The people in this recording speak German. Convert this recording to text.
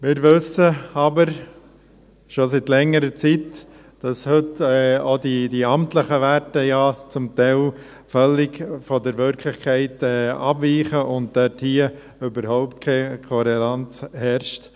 Wir wissen aber schon seit längerer Zeit, dass heute auch die amtlichen Werte zum Teil völlig von der Wirklichkeit abweichen und dort überhaupt keine Toleranz herrscht.